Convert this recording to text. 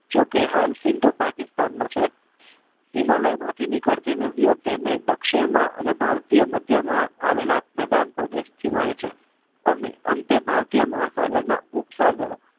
જોકે સિંધ પાકિસ્તાનમાં છે હિમાલયમાં માથુઈ નીકળતી બધી નદીઓ તેને દક્ષિણમાં અને ભારતીય મધ્યમાં આવેલા મેદાન પ્રદેશ હોય છે અને અંતે મહાસાગર ના ઉપસાગરો છે